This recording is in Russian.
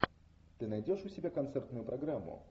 ты найдешь у себя концертную программу